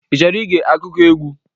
I chọrọ ige akụkọ egwu?